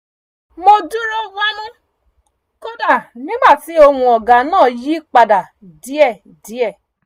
mo dúró wámú kódà nígbà tí ohùn ọ̀gá náà yí padà díẹ̀díẹ̀